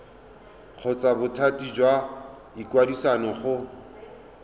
kgotsa bothati jwa ikwadiso go